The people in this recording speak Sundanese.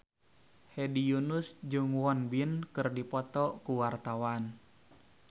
Hedi Yunus jeung Won Bin keur dipoto ku wartawan